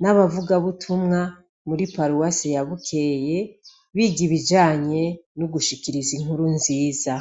n' abavugabutumwa muri paruwase ya Bukeye biga ibijanye no gushikiriza inkuru nziza.